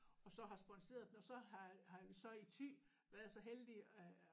Og så har sponseret den og så har har vi så i Thy været så heldige at